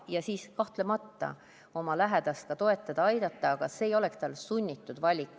Ja siis kahtlemata oma lähedast ka toetada-aidata, aga see ei oleks tal sunnitud valik.